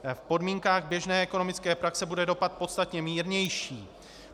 V podmínkách běžné ekonomické praxe bude dopad podstatně mírnější.